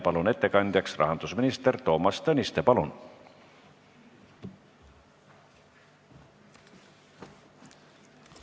Palun ettekandjaks rahandusminister Toomas Tõniste!